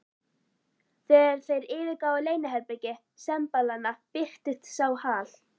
Þegar þeir yfirgáfu leyniherbergi sembalanna, birtist sá Hal